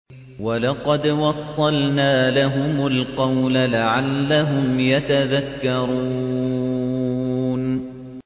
۞ وَلَقَدْ وَصَّلْنَا لَهُمُ الْقَوْلَ لَعَلَّهُمْ يَتَذَكَّرُونَ